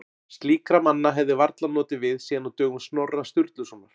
Slíkra manna hefði varla notið við síðan á dögum Snorra Sturlusonar.